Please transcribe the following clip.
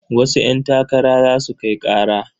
Wasu ƴantakara za su kai ƙara.